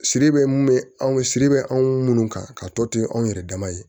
Siri be mun bɛ anw siri be anw munnu kan ka tɔ to anw yɛrɛ dama ye